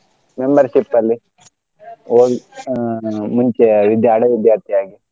Membership ಅಲ್ಲಿ ಓಯ್ ಆ ಮುಂಚೆ ಇದ್ದೆ ಹಳೆ ವಿದ್ಯಾರ್ಥಿ ಆಗಿ.